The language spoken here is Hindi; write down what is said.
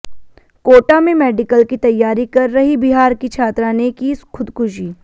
कोटा में मेडिकल की तैयारी कर रही बिहार की छात्रा ने की खुदकुशी